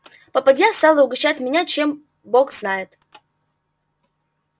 попадья стала угощать меня чем бог знает